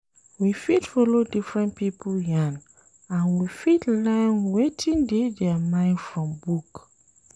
We fit follow different pipo yarn and we fit learn wetin dey their mind from book